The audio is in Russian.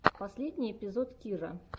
последний эпизод кирра